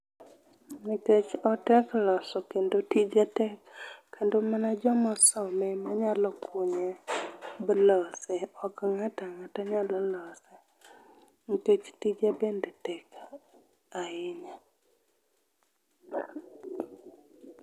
Nikech otek loso kendo tije tek, kendo mana joma osome ema nyalo kunye malose , ok ng'ato ang'ata nyalo lose nikech tije bende tek ahinya.